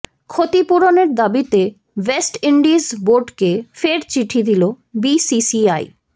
ক্ষতিপূরণের দাবিতে West Indies বোর্ডকে ফের চিঠি দিল বিসিসিআই